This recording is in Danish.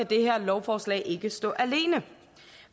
det her lovforslag ikke stå alene